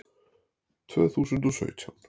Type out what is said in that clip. Tvö þúsund og sautján